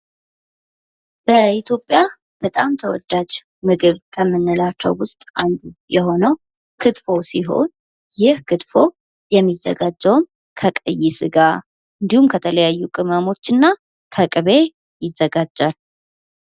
በኢትዮጵያ በጣም ተወዳጅ ምግብ ከምንላቸው ውስጥ አንዱ የሆነው ክትፎ ሲሆን ይህ ክትፎ የሚዘጋጀውም ከቀይ ስጋ እንዲሁም ከተለያዩ ቅመሞችና ከቅቤ ይዘጋጃል።